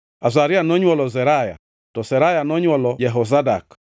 Azaria nonywolo Seraya, to Seraya nonywolo Jehozadak.